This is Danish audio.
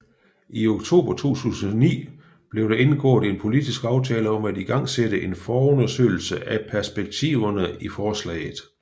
I oktober 2009 blev der indgået en politisk aftale om at igangsætte en forundersøgelse af perspektiverne i forslaget